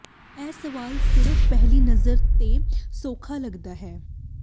ਇਹ ਸਵਾਲ ਸਿਰਫ ਪਹਿਲੀ ਨਜ਼ਰ ਤੇ ਸੌਖਾ ਲੱਗਦਾ ਹੈ